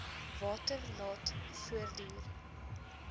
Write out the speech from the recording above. water laat voortduur